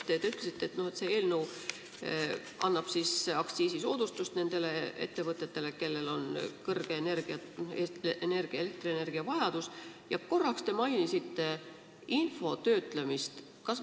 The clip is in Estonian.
Te ütlesite, et see eelnõu annab aktsiisisoodustust nendele ettevõtetele, kellel on suur elektrienergiavajadus, ja korraks te mainisite info töötlemist.